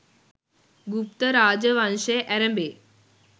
ගුප්ත රාජ වංශය ඇරඹේ.